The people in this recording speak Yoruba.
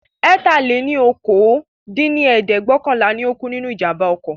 ẹ̀ta-lé-ní-okòó dín ní ẹ̀ẹ́dẹ́gbẹ́ọ̀kànlá ni ó kú nínú ìjàmbá oko